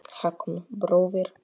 Hákon bróðir.